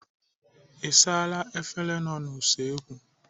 Ị saala efere nọ n'usekwu?